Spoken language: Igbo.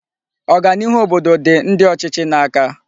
Oganiihu obodo di ndi ochichi n'aka